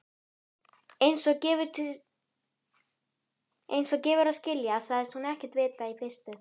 Einsog gefur að skilja sagðist hún ekkert vita í fyrstu.